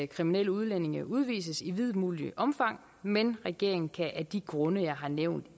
kriminelle udlændinge udvises i videst muligt omfang men regeringen kan af de grunde jeg har nævnt